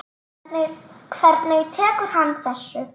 Hvernig tekur hann þessu?